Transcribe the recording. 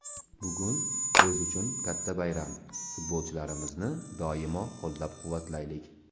Bugun biz uchun katta bayram, futbolchlarimizni doimo qo‘llab-quvvatlaylik!